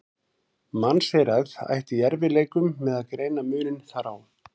Mannseyrað ætti í erfiðleikum með að greina muninn þar á.